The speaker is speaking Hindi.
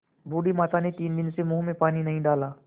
बूढ़ी माता ने तीन दिन से मुँह में पानी नहीं डाला